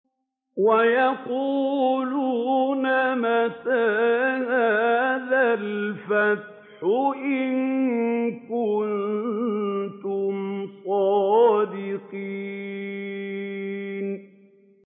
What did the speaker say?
وَيَقُولُونَ مَتَىٰ هَٰذَا الْفَتْحُ إِن كُنتُمْ صَادِقِينَ